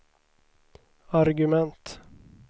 argument